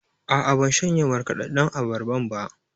A'a, ban shanye markaɗaɗɗan abarban ba.